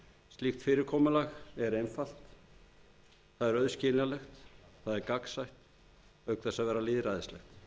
slíkt fyrirkomulag er einfalt auðskiljanlegt og gagnsætt auk þess að vera lýðræðislegt